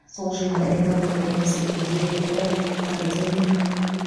сол жиында экомика институтының директоры академик